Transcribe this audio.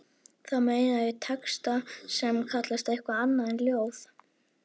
Þá meina ég texta sem kallast eitthvað annað en ljóð.